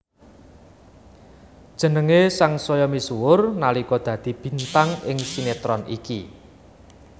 Jenengé sangsaya misuwur nalika dadi bintang ing sinetron iki